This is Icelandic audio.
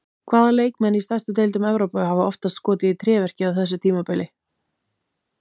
Hvaða leikmenn í stærstu deildum Evrópu hafa oftast skotið í tréverkið á þessu tímabili?